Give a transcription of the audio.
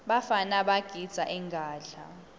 bafana bagidza ingadla